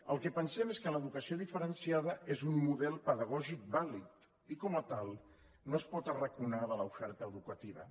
el que pensem és que l’educació diferenciada és un model pedagògic vàlid i com a tal no es pot arraconar de l’oferta educativa